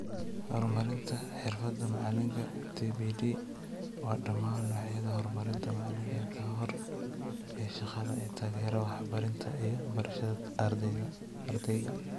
Horumarinta xirfada macalinka (TPD) waa dhamaan noocyada horumarinta macalinka ka hor iyo shaqada ee taageera waxbarida iyo barashada ardayga,